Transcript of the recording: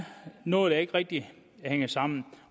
noget der ikke rigtig hænger sammen